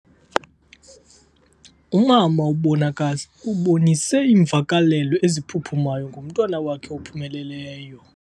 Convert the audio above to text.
Umama ubonise iimvakalelo eziphuphumayo ngomntwana wakhe ophumeleleyo.